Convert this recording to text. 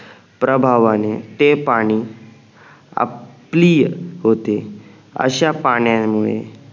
प्रभावाने ते पाणी अपलीय होते अश्या पाण्यामुळे